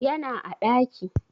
Yana a ɗaki